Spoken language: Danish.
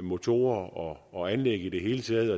motorer og og anlæg i det hele taget og